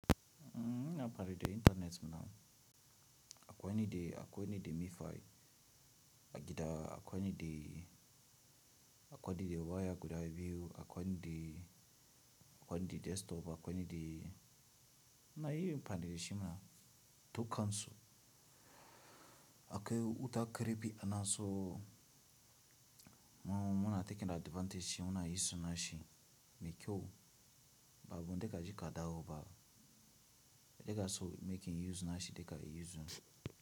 Em ina amfani da internet for now akwai ni da mifi a gida akwai ni da waya guda biyu akwai ni da desktop akwai ni de ina amfani dasu dukansu. Akwai huta karfi ana so mu muna taking advantage munayin suna shi me kyau ba wanda kaje ka dawo ba in kaso making use nashi daga use nashi.